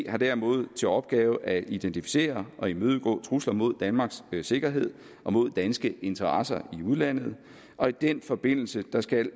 har derimod til opgave at identificere og imødegå trusler mod danmarks sikkerhed og mod danske interesser i udlandet og i den forbindelse skal